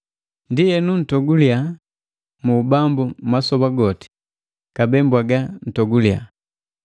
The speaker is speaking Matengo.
Ndienu ntoguliya mu Ubambu masoba goti, kabee mbwaga ntoguliya!